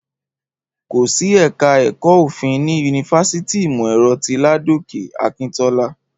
Kò sí ẹ̀ka ẹ̀kọ́ Òfin ní yunifásítì ìmọ̀-ẹ̀rọ ti Ládòkè Akíntọ́lá